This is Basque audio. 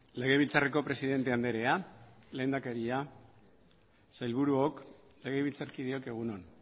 legebiltzarreko presidente andrea lehendakaria sailburuok legebiltzarkideok egun on